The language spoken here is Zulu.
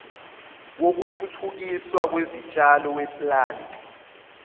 wokuthuthukiswa kwezitshalo weplant